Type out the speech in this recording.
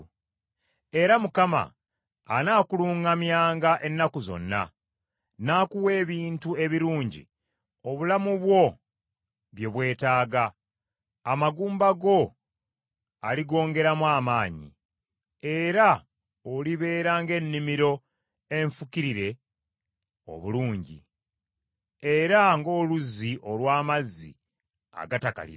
Era Mukama anaakuluŋŋamyanga ennaku zonna, n’akuwa ebintu ebirungi obulamu bwo bye bwetaaga, amagumba go aligongeramu amaanyi; era olibeera ng’ennimiro enfukirire obulungi, era ng’oluzzi olw’amazzi agatakalira.